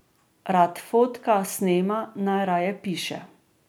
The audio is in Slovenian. Rad fotka, snema, najraje piše.